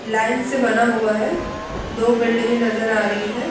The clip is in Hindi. लाइन से बना हुआ है दो बिल्डिंगे नजर आ रही है।